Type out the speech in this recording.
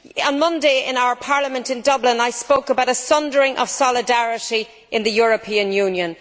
On Monday in our Parliament in Dublin, I spoke about a sundering of solidarity in the European Union.